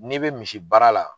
N'i bɛ misi baara la